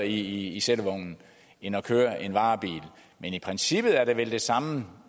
i sættevognen end at køre en varebil men i princippet er det vel det samme der